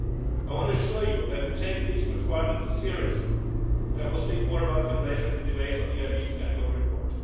I want to assure you that we take these requirements seriously and I will speak more about them later in the debate on the EIB's annual report.